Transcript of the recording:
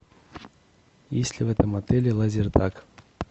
есть ли в этом отеле лазертаг